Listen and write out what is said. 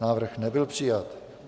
Návrh nebyl přijat.